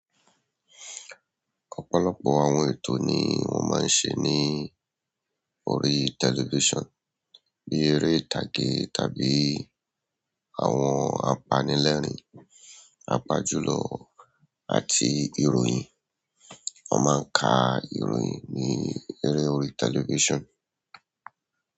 Ọ̀pọ̀lọpọ̀ àwọn ètò ni wọ́n máa ń ṣe ní orí television, bí eré ìtàgé tàbí àwọn apanilẹ́rìn pàápàá jùlọ àti ìròyìn. Wọ́n máa ń ka ìròyìn ní eré orí television.